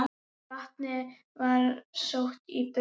Vatnið var sótt í brunn.